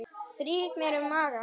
Strýk mér um magann.